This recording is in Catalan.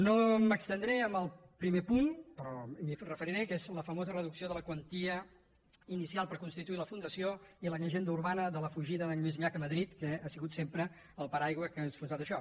no m’estendré en el primer punt però m’hi referiré que és la famosa reducció de la quantia inicial per constituir la fundació i la llegenda urbana de la fugida d’en lluís llach a madrid que ha sigut sempre el pa·raigua que ha enfonsat això